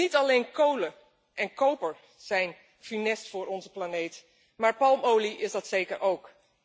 Want niet alleen kolen en koper zijn funest voor onze planeet, maar palmolie is dat zeker ook.